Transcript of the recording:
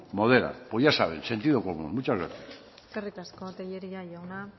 modera pues ya saben sentido común muchas gracias eskerrik asko tellería jauna